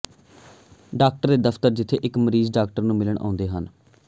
doctor ਦੇ ਦਫ਼ਤਰ ਜਿੱਥੇ ਇੱਕ ਮਰੀਜ਼ ਡਾਕਟਰ ਨੂੰ ਮਿਲਣ ਆਉਂਦੇ ਹਨ